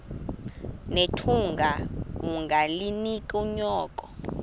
nethunga ungalinik unyoko